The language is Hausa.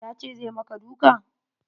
Ya ce zai maka duka?